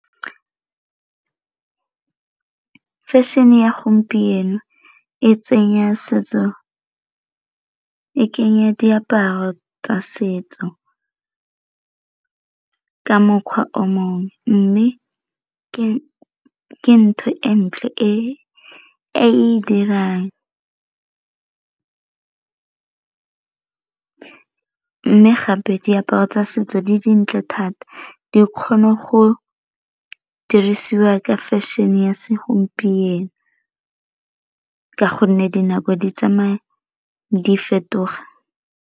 Fashion-e ya gompieno e tsenya setso e kenya diaparo tsa setso ka mokgwa o mongwe, mme ke ntho e ntle e e dirang mme gape diaparo tsa setso di dintle thata di kgone go dirisiwa ka fashion-e ya segompieno ka gonne dinako di tsamaya di fetoga.